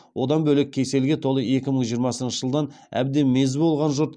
одан бөлек кеселге толы екі мың жиырмасыншы жылдан әбден мезі болған жұрт